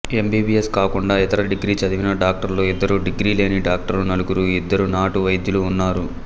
MBBS కాకుండా ఇతర degree చదివిన డాక్టర్లు ఇద్దరు డిగ్రీ లేని డాక్టర్లు నలుగురు ఇద్దరు నాటు వైద్యులు ఉన్నారు